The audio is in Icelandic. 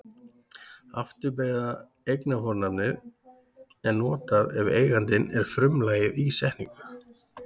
Afturbeygða eignarfornafnið er notað ef eigandinn er frumlagið í setningu.